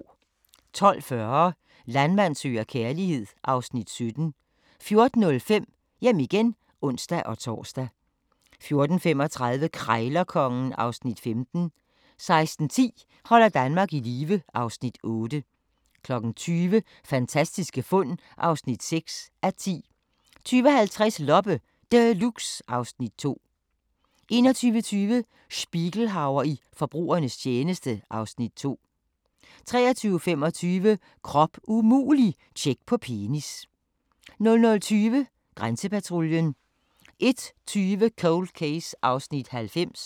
12:40: Landmand søger kærlighed (Afs. 17) 14:05: Hjem igen (ons-tor) 14:35: Krejlerkongen (Afs. 15) 16:10: Holder Danmark i live (Afs. 8) 20:00: Fantastiske fund (6:10) 20:50: Loppe Deluxe (Afs. 2) 21:20: Spiegelhauer i forbrugernes tjeneste (Afs. 2) 23:25: Krop umulig – tjek på penis 00:20: Grænsepatruljen 01:20: Cold Case (90:156)